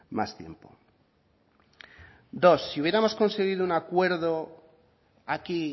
más tiempo dos si hubiéramos conseguido un acuerdo aquí